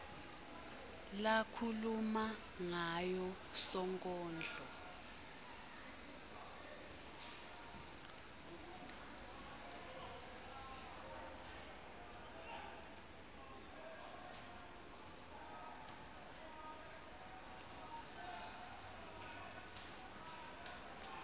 lakhuluma ngayo sonkondlo